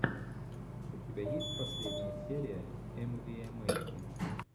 у тебя есть последняя серия эмвиэмэси